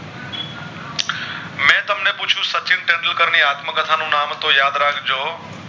તેંડુલકર ની આત્મકથા નું નામ હતું યાદ રાખ જો